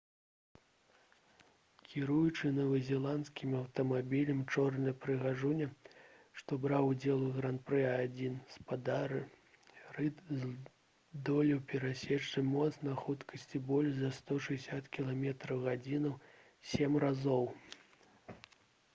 кіруючы новазеландскім аўтамабілем «чорная прыгажуня» што браў удзел у гран-пры а1 спадар рыд здолеў перасекчы мост на хуткасці больш за 160 км/г сем разоў